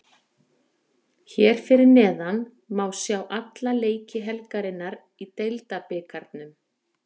Hér fyrir neðan má sjá alla leiki helgarinnar í Deildabikarnum: